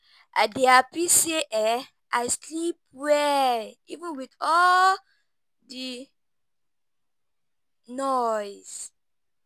I dey happy say I sleep well even with all the noise